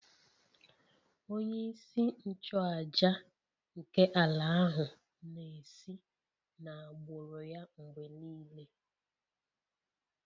Onye-isi-nchu-àjà nke ala ahu na-esi n'agbụrụ ya mgbe nile